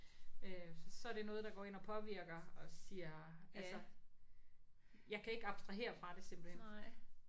Øh så er det noget der går ind og påvirker og siger altså. Jeg kan ikke abstrahere fra det simpelthen